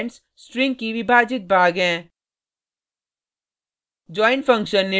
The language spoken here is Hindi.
इस अरै के एलिमेंट्स स्ट्रिंग की विभाजित भाग हैं